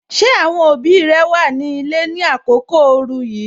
Ṣé àwọn òbí rẹ wà ní ilé ni àkókò ooru yìí?